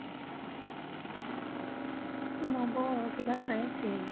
number অ কিবা চাই আছে হেৰি